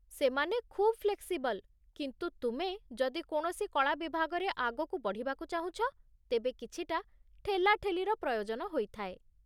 ସେମାନେ ଖୁବ୍ ଫ୍ଲେକ୍ସିବଲ୍, କିନ୍ତୁ ତୁମେ ଯଦି କୌଣସି କଳା ବିଭାଗରେ ଆଗକୁ ବଢ଼ିବାକୁ ଚାହୁଁଛ, ତେବେ କିଛିଟା ଠେଲାଠେଲିର ପ୍ରୟୋଜନ ହୋଇଥାଏ।